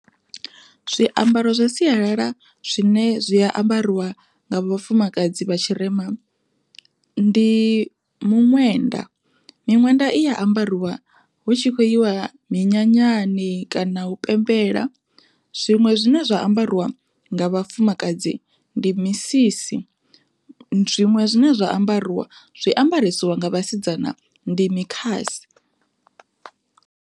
Zwiambaro zwa sialala zwine zwi a ambariwa nga vhafumakadzi vha tshirema ndi muṅwenda. Miṅwenda iya ambariwa hu tshi khou yiwa minyanyani kana u pembela, zwiṅwe zwine zwa ambariwa nga vhafumakadzi ndi misisi zwiṅwe zwine zwa ambariwa zwiambarisiwa nga vhasidzana ndi mikhasi.